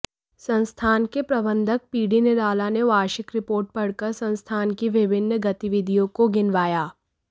संस्थान के प्रबंधक पीडी निराला ने वार्षिक रिपोर्ट पढ़कर संस्थान की विभिन्न गतिविधियों को गिनवाया